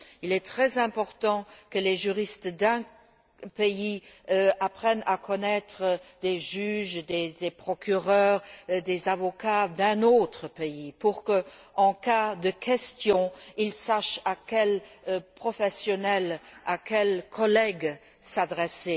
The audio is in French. Il est très important que les juristes d'un pays apprennent à connaître des juges, des procureurs, des avocats d'un autre pays pour que, en cas de questions, ils sachent à quel professionnel, à quel collègue s'adresser.